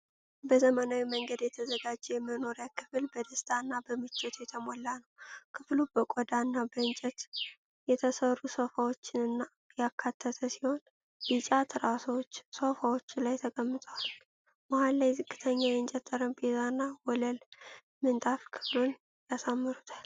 በዘመናዊ መንገድ የተዘጋጀው የመኖሪያ ክፍል በደስታ እና በምቾት የተሞላ ነው። ክፍሉ በቆዳ እና በእንጨት የተሠሩ ሶፋዎችን ያካተተ ሲሆን፤ ቢጫ ትራሶች ሶፋዎቹ ላይ ተቀምጠዋል። መሃል ላይ ዝቅተኛ የእንጨት ጠረጴዛና የወለል ምንጣፍ ክፍሉን ያሳምሩታል።